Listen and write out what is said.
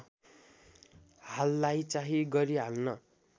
हाललाई चाहिँ गरिहाल्न